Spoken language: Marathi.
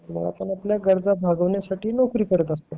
आपण आपल्या गरजा भागवण्यासाठी नोकरी करत असतो